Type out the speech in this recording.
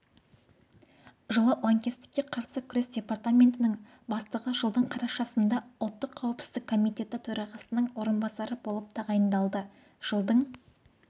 жылы лаңкестікке қарсы күрес департаментінің бастығы жылдың қарашасында ұлттық қауіпсіздік комитеті төрағасының орынбасары болып тағайындалды жылдың